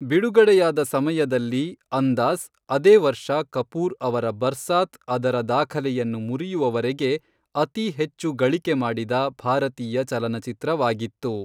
ಬಿಡುಗಡೆಯಾದ ಸಮಯದಲ್ಲಿ, 'ಅಂದಾಜ್',ಅದೇ ವರ್ಷ ಕಪೂರ್ ಅವರ 'ಬರ್ಸಾತ್' ಅದರ ದಾಖಲೆಯನ್ನು ಮುರಿಯುವವರೆಗೆ ಅತಿ ಹೆಚ್ಚು ಗಳಿಕೆ ಮಾಡಿದ ಭಾರತೀಯ ಚಲನಚಿತ್ರವಾಗಿತ್ತು.